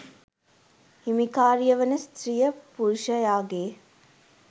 හිමිකාරිය වන ස්ත්‍රිය පුරුෂයාගේ